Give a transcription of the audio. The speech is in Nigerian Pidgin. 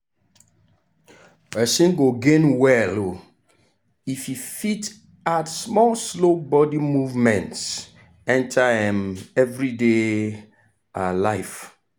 person go gain well um if e fit add small slow body movement enter um everyday um life.